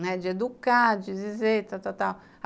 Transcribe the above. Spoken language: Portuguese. de educar, de dizer, tal, tal, tal.